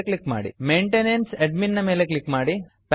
maintenance maintenance admin ನ ಮೇಲೆ click ಮಾಡಿ